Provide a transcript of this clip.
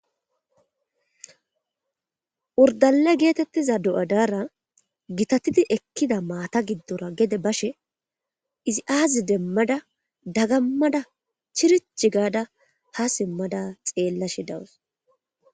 Urdale geetettiza do'adaara gitatidi ekkida maata giddora gede bashe izi aazi demmada dagammada chirich gaada ha simmada xeellashe dawas.